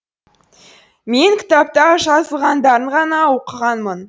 мен кітапта жазылғандарын ғана оқығанмын